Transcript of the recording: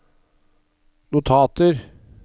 notater